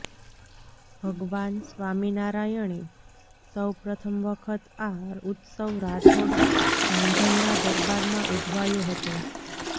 ભગવાન સ્વામિનારાયણે સૌ પ્રથમ વખત આ ઉત્સવ રાઠોડ ધાંધલના દરબારમાં ઉજવાયો હતો